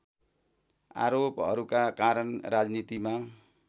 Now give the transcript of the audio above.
आरोपहरूका कारण राजनीतिमा